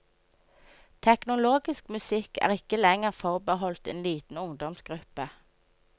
Teknologisk musikk er ikke lenger forbeholdt en liten ungdomsgruppe.